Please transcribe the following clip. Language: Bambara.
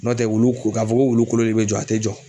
N'o tɛ wulu ka fɔ ko wulu kolonli de be jɔ, a te jɔ.